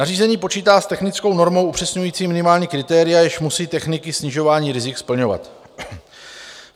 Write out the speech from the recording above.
Nařízení počítá s technickou normou upřesňující minimální kritéria, jež musí techniky snižování rizik splňovat.